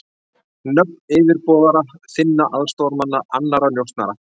Nöfn yfirboðara þinna, aðstoðarmanna, annarra njósnara.